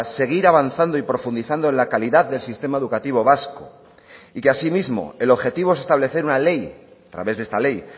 seguir avanzando y profundizando en la calidad del sistema educativo vasco y que asimismo el objetivo es establecer una ley a través de esta ley